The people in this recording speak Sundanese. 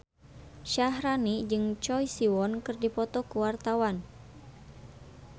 Syaharani jeung Choi Siwon keur dipoto ku wartawan